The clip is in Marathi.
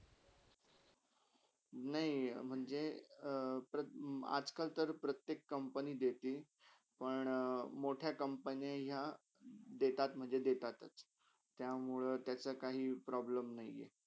नय म्हणजे अ प्रा आज - कलतर प्रतेक company देतील पण मोठ्या कंपन्या यह देतात म्हणजे देतातच. त्यामुळे तसाकाही problem नय हे.